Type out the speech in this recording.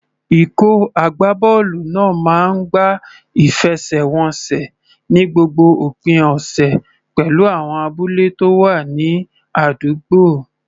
Ikọ̀ agbábọ́ọ̀lù náà máa ń gbá ìfẹsẹ̀wọnsẹ̀ ní gbogbo òpin ọ̀sẹ̀ pẹ̀lú àwọn abúlé tó wà ní àdúgbò.